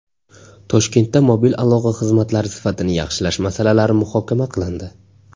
Toshkentda mobil aloqa xizmatlari sifatini yaxshilash masalalari muhokama qilindi.